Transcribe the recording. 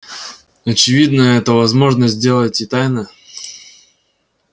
очевидно это возможно сделать и тайно